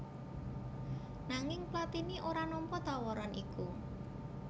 Nanging Platini ora nampa tawaran iku